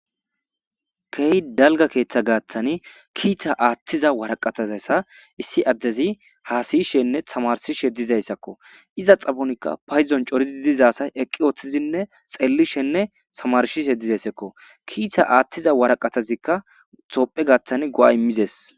Keehi dalgga keeththa gaaththan kiita aaththiza waraqataza issi addezi haasayishenne tamarsishe dizayssakko. Iza xaphonikka paydon coridi diza asay eqqi woththidinne xeellishenne tamarsishe dizayssazakko. Kiita aaththiza waraqatazikka tophphiya gaaththan go'a immides.